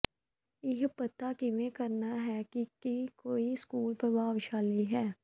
ਇਹ ਪਤਾ ਕਿਵੇਂ ਕਰਨਾ ਹੈ ਕਿ ਕੀ ਕੋਈ ਸਕੂਲ ਪ੍ਰਭਾਵਸ਼ਾਲੀ ਹੈ